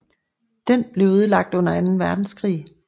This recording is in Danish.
Den blev ødelagt under anden verdenskrig